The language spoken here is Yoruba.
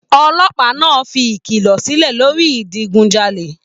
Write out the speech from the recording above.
Olópàá náà fí ìkìlọ silẹ lórí idigunjale.